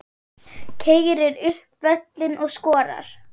Keyrir upp völlinn og skorar.